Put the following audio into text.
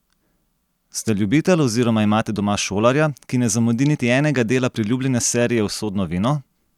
Ste ljubitelj oziroma imate doma šolarja, ki ne zamudi niti enega dela priljubljene serije Usodno vino?